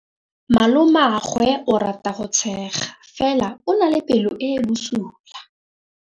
Malomagwe o rata go tshega fela o na le pelo e e bosula.